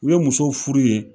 U ye musow furu yen